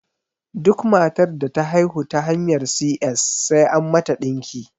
Duk matar da ta haihu ta hanyar si ƴes sai an mata ɗinki